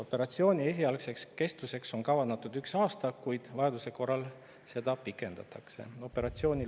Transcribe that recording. Operatsiooni esialgseks kestvuseks on kavandatud üks aasta, kuid vajaduse korral seda pikendatakse.